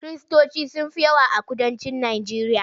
Kiristoci sun fi yawa a kudancin Najeriya.